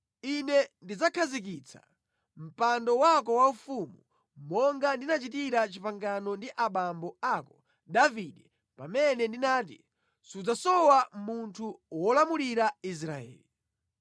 Ine ndidzakhazikitsa mpando wako waufumu, monga ndinachitira pangano ndi abambo ako Davide pamene ndinati, ‘Sipadzasowa munthu wolamulira Israeli.’